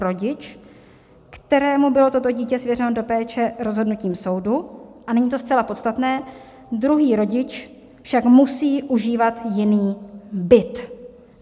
rodič, kterému bylo toto dítě svěřeno do péče rozhodnutím soudu" - a nyní to zcela podstatné: "druhý rodič však musí užívat jiný byt".